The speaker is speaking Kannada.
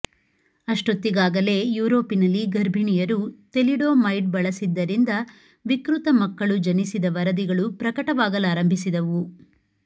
ಅಷ್ಟೊತ್ತಿಗಾಗಲೇ ಯುರೋಪಿನಲ್ಲಿ ಗರ್ಭಿಣಿಯರು ಥೆಲಿಡೋಮೈಡ್ ಬಳಸಿದ್ದರಿಂದ ವಿಕೃತ ಮಕ್ಕಳು ಜನಿಸಿದ ವರದಿಗಳು ಪ್ರಕಟವಾಗಲಾರಂಭಿಸಿದವು